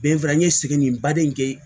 n ye segin nin baden kɛ